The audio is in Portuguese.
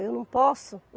Eu não posso?